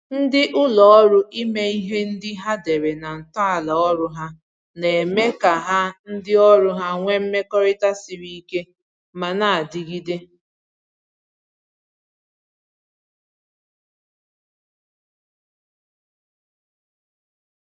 Ndị ụlọ ọrụ ime ihe ndị ha dere na ntọala ọrụ ha na-eme ka ha ndị ọrụ ha nwe mmekọrịta siri ike ma na-adịgide